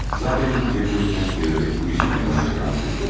Zatən cəbləri tərs çevirərək bu işi meydana çıxaran sizsiniz.